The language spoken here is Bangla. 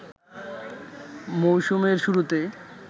মৌসুমের শুরুতে